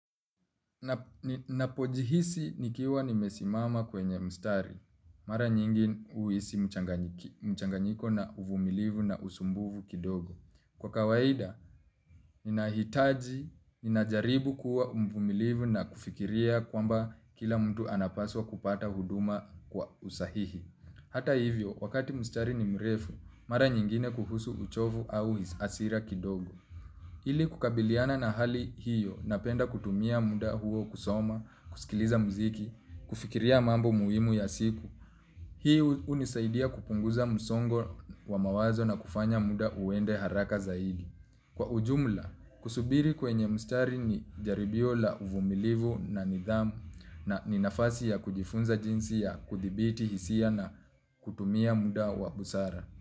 Ninapojihisi nikiwa nimesimama kwenye mstari, mara nyingi huhisi mchanganyiko na uvumilivu na usumbuvu kidogo. Kwa kawaida, ninahitaji, ninajaribu kuwa mvumilivu na kufikiria kwamba kila mtu anapaswa kupata huduma kwa usahihi. Hata hivyo, wakati mstari ni mrefu, mara nyingine kuhusu uchovu au hasira kidogo. Hili kukabiliana na hali hiyo napenda kutumia muda huo kusoma, kusikiliza muziki, kufikiria mambo muhimu ya siku. Hii hunisaidia kupunguza msongo wa mawazo na kufanya muda uende haraka zaidi. Kwa ujumla, kusubiri kwenye mstari ni jaribio la uvumilivu na nidhamu na ni nafasi ya kujifunza jinsi ya kuthibiti hisia na kutumia muda wa busara.